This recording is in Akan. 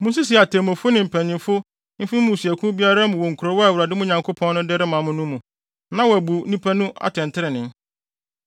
Munsisi atemmufo ne mpanyimfo mfi mo mmusuakuw biara mu wɔ nkurow a Awurade, mo Nyankopɔn no, de rema mo no mu, na wobebu nnipa no atɛntrenee.